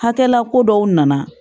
Hakɛla ko dɔw nana